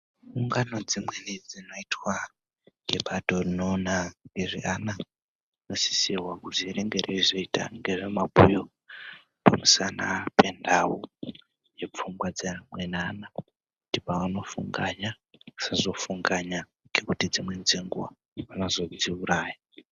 Ungano dzimweni dzinoitwa ngebato rinoona ngezve ana, rinosisirwa kuti ringe rezoita mabhuyo pamusana penhau yepfungwa dzeamweni ana kuti pavanofunganya vasazofunganya ngekuti dzimweni dzenguwa vanozodziuraya.